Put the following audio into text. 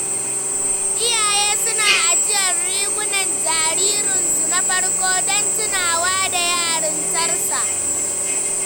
Iyaye suna ajiyar rigunan jaririnsu na farko don tunawa da yarintarsa.